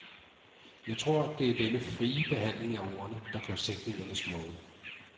Jeg tror, at det er denne frie behandling af ordene, der gør sætningerne smukke.